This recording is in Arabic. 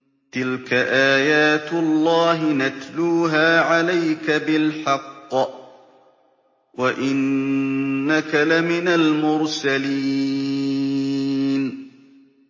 تِلْكَ آيَاتُ اللَّهِ نَتْلُوهَا عَلَيْكَ بِالْحَقِّ ۚ وَإِنَّكَ لَمِنَ الْمُرْسَلِينَ